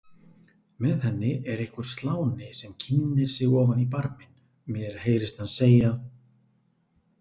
Með henni er einhver sláni sem kynnir sig ofan í barminn, mér heyrist hann segja